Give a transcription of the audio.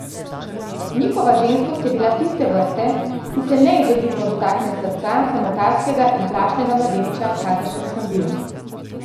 Njihova ženskost je bila tiste vrste, ki se neizogibno dotakne srca samotarskega in plašnega mladeniča, kakršen sem bil.